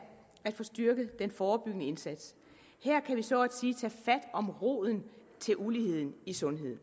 at få styrket den forebyggende indsats her kan vi så at sige tage fat om roden til uligheden i sundheden